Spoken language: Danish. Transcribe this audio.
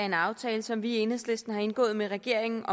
en aftale som vi i enhedslisten har indgået med regeringen